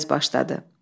Payız başladı.